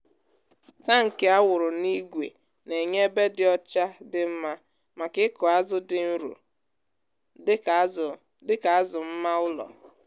tankị a wụrụ n’ígwè na-enye ebe dị ọcha dị mma maka ịkụ azụ dị nro dịka azụ dịka azụ mma ụlọ.